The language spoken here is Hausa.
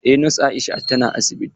Eh nos Aisha ta na asibiti.